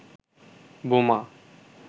বোমা